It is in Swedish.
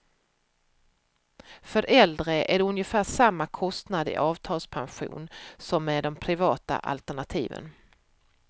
För äldre är det ungefär samma kostnad i avtalspension som med de privata alternativen.